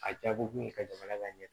A jaabi kun ye ka jamana ka ɲɛ